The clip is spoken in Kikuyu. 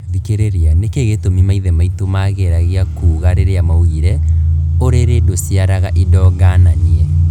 Thikĩrĩria, nĩkĩ gĩtũmi maithe maitũ mageragia kuga rĩrĩa maugire " urĩrĩ ndũciaraga indo ngananie"